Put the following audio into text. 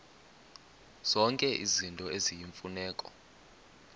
zonke izinto eziyimfuneko